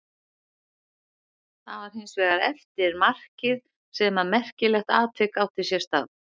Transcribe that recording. Það var hins vegar eftir markið sem að merkilegt atvik átti sér stað.